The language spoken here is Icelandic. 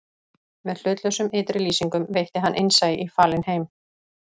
Með hlutlausum ytri lýsingum veitti hann innsæi í falinn heim